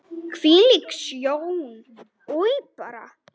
Hvílík sjón, oj bara!